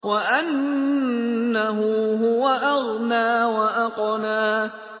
وَأَنَّهُ هُوَ أَغْنَىٰ وَأَقْنَىٰ